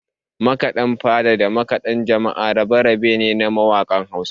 Makaɗan fada da makaɗan jama'a rabe-rabe ne na mawakan Hausa